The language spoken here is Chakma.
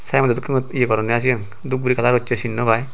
saembodo dokken yot ye goronney i sen dup guri kalar gossey sin naw pai.